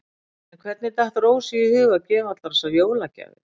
En hvernig datt Rósu í hug að gefa allar þessar jólagjafir?